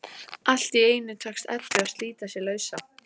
Allt í einu tekst Eddu að slíta sig lausa.